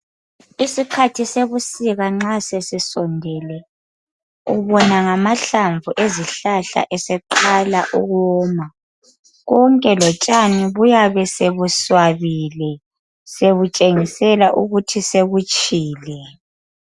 Isikhathi sebisika nxa sesisondele ubona ngamahlamvu ezihlahla eseqala ukuwoma konke lotshani buyabe sebuswabile sebutshengisela ukuthi sebutshile.